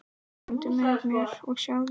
Komdu með mér og sjáðu.